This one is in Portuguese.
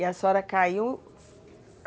E a senhora caiu.